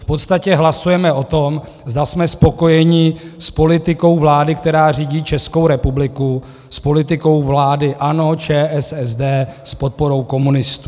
V podstatě hlasujeme o tom, zda jsme spokojeni s politikou vlády, která řídí Českou republiku, s politikou vlády ANO, ČSSD s podporou komunistů.